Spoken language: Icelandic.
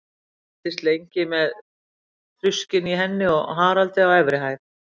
Ég fylgdist lengi með þruskinu í henni og Haraldi á efri hæð.